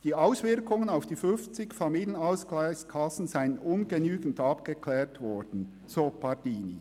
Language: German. Die Auswirkungen auf die 50 Familienausgleichskassen seien ungenügend abgeklärt worden, sagt Pardini.